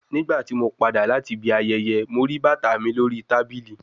Nigbati mo pada lati ibi ayẹyẹ Mo rii bata mi lori tabili